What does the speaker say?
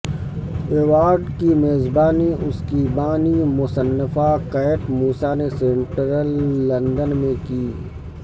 award کی میزبانی اس کی بانی مصنفہ کیٹ موسی نے سینٹرل لندن میں کی